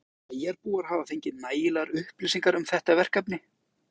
Jóhann: Finnst þér bæjarbúar hafa fengið nægilegar upplýsingar um þetta verkefni?